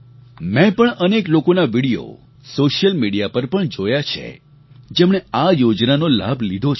મેં પણ અનેક લોકોના વિડિયો સૉશિયલ મિડિયા પર પણ જોયા છે જેમણે આ યોજનાનો લાભ લીધો છે